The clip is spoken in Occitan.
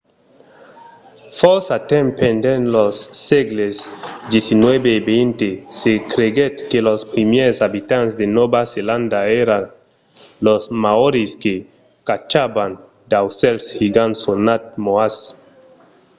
fòrça temps pendent los sègles xix e xx se creguèt que los primièrs abitants de nòva zelanda èran los maòris que caçavan d’aucèls gigants sonats moas